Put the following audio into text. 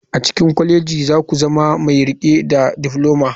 A cikin kwalejoji za ku zama mai riƙe da difloma.